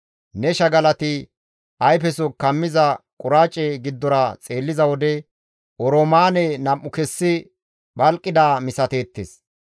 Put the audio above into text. Ne shagalati ayfeso kammiza quraace giddora xeelliza wode oroomaane nam7u kessi phalqidaa misateettes.